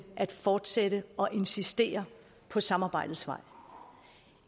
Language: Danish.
at fortsætte og insistere på samarbejdets vej